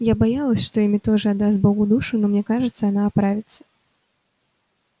я боялась что эмми тоже отдаст богу душу но мне кажется она оправится